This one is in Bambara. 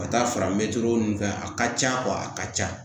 Ka taa fara mɛtiri ninnu fɛ a ka ca a ka ca